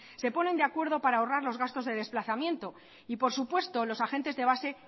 se ponen de acuerdo para ahorrar los gastos de desplazamiento y por supuesto los agentes de base